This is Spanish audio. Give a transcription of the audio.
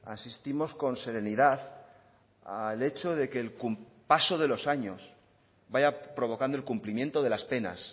asistimos con serenidad al hecho de que el paso de los años vaya provocando el cumplimiento de las penas